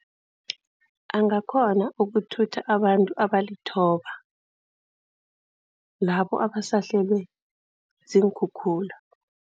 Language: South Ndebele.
Angakghona ukuthutha abantu abalithoba, labo abasahlelwe ziinkhukhula.